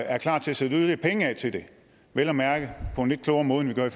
er klar til at sætte yderligere penge af til det vel at mærke på en lidt klogere måde end vi gør